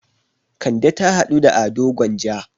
Kande ta haɗu da Ado Gwanja.